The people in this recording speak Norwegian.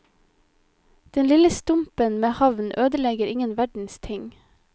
Den lille stumpen med havn ødelegger ingen verdens ting.